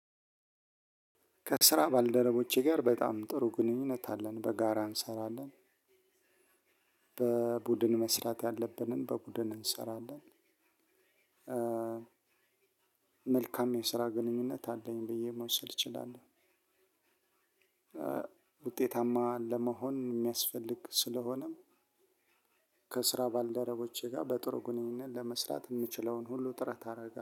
ከስራ ባልደረቦቼ ጋር በጣም ጥሩ ግንኙነት አለን በጋራ እንሰራለን። በቡድን መስራት ያለብንን በቡድን እንሰራለን። መልካም የስራ ግንኙነት አለኝ ብዬ መውሰድ እችላለሁ። ውጤታማ ለመሆን የሚያስፈልግ ስለሆነ ከስራ ባልደረቦቼ ጋር በጥሩ ግንኙነት ለመስራት የምችለውን ሁሉ ጥረት አደረጋለሁ።